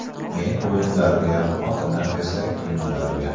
Men o‘yinlarga, xotinim esa kiyimlarga.